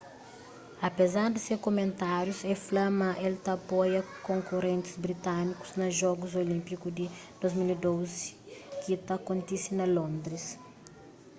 apezar di se kumentárius el fla ma el ta apoia konkurentis britanikus na jogus olínpiku di 2012 ki ta kontise na londris